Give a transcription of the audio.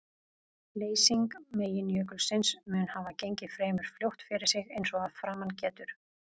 Leysing meginjökulsins mun hafa gengið fremur fljótt fyrir sig eins og að framan getur.